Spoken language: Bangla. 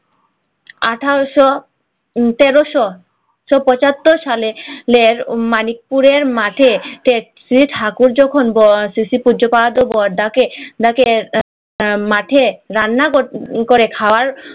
আঠারশ টেরশ পছতর সালে মানিকপুরের মাঠে ঠাকুর যখন বজ্জাত বর ডাকে রান্না করে খাওয়া